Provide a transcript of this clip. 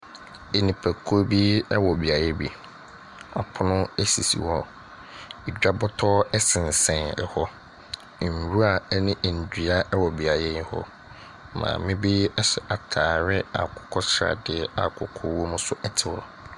Nnipakuo bi wɔ beaeɛ bi. Apono sisi hɔ. Edwa bɔtɔ sensɛn hɔ. Nwura ne nnua wɔ beaeɛ yi hɔ. Maame bi ahyɛ atareɛ akokɔ sradeɛ a kɔkɔɔ wom nso te hɔ.